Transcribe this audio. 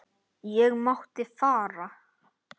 Ég mátti fara.